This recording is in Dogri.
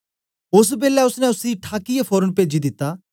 ओस बेलै ओसने उसी ठाकीयै फोरन पेजी दिता